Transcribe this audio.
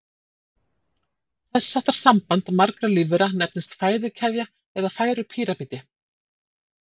Þess háttar samband margra lífvera nefnist fæðukeðja eða fæðupíramídi.